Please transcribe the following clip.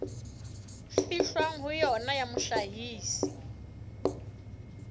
fihlwang ho yona ya mohlahisi